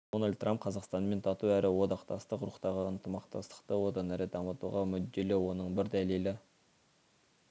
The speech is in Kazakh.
дональд трамп қазақстанмен тату әрі одақтастық рухтағы ынтымақтастықты одан әрі дамытуға мүдделі оның бір дәлелі